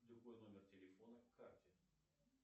любой номер телефона к карте